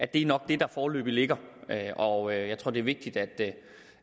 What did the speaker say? det er nok det der foreløbig ligger og jeg tror det er vigtigt